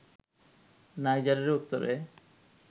নাইজারের উত্তরে